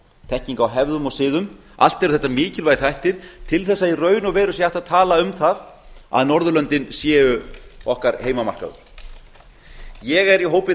þekking á hefðum og siðum allt eru þetta mikilvægir þættir til þess að í raun og veru sé hægt að tala um það að norðurlöndin séu okkar heimamarkaður ég er í hópi